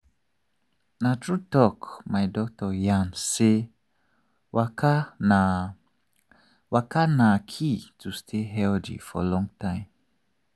na true talk my doctor yarn say waka na waka na key to stay healthy for long time.